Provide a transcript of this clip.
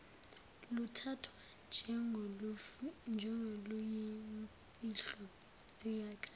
luthathwa njengoluyimfihlo zikhathi